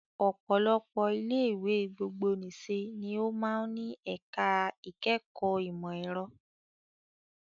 Ọ̀pọ̀lọpọ̀ ilé ìwé gbogbonìṣe ni ó máa ń ní ẹ̀ka ìkẹ́kọ̀ọ́ ìmọ̀ ẹ̀rọ